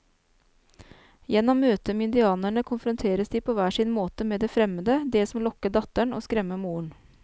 Gjennom møtet med indianerne konfronteres de på hver sin måte med det fremmede, det som lokker datteren og skremmer moren.